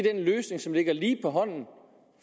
er en løsning som ligger lige på hånden